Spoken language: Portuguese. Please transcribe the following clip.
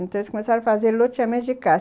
Então, eles começaram a fazer loteamento de casa.